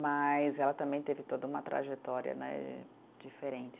Mas ela também teve toda uma trajetória né diferente.